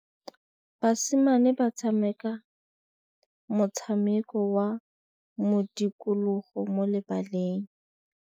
Basimane ba tshameka motshameko wa modikologô mo lebaleng.